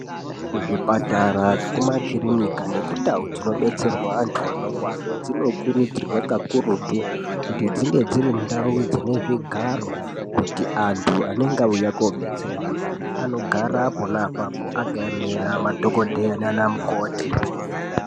Kuzvipatara nekumakirinika nekundau dzinodetserwa antu anorwara dzinokurudzirwa kakurutu kuti dzinge dzirindau dzine zvigaro kuti antu anenge auya kodetserwa anogara pona apapo, akaemera madhogodheya nanamukoti.